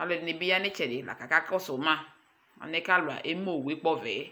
Alʋ ɛdɩnɩ bɩ ya nʋ ɩtsɛdɩ la kʋ akakɔsʋ ma, alɛna yɛ kʋ alʋ eme owu yɛ kpɔvɛ yɛ